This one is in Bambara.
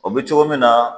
O bɛ cogo min na